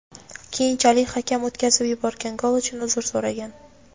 Keyinchalik hakam o‘tkazib yuborilgan gol uchun uzr so‘ragan.